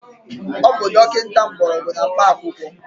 Ọ bụ dọkịta Mgbọrọgwụ na mkpa akwụkwọ